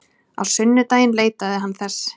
Á sunnudaginn leitaði hann þess.